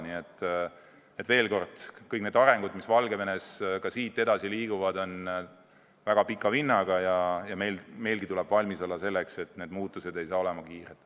Nii et veel kord: kõik need arengud, mis Valgevenes edaspidi sünnivad, on väga pika vinnaga ja meilgi tuleb valmis olla selleks, et need muutused ei saa olema kiired.